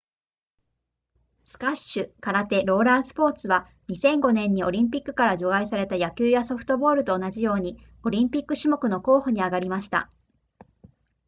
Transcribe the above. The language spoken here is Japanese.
スカッシュ空手ローラースポーツは2005年にオリンピックから除外された野球やソフトボールと同じようにオリンピック種目の候補に挙がりました